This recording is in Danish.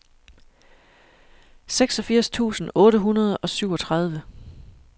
seksogfirs tusind otte hundrede og syvogtredive